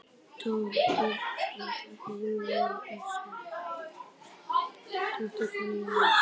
Dóttir fer í móður serk.